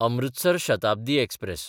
Amritsar Shatabdi express